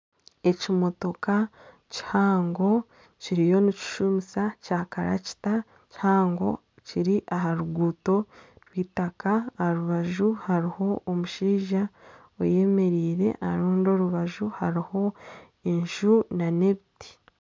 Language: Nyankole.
Ekimotoka kihango kiriyo nikishumisa Kya karakita kihango kiri aha ruguuto rw'eitaka aha rubaju hariho omushaija ayemereire aha rundi orubaju hariho enju nana ebiti.